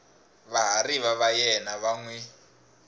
vahariva va yena va n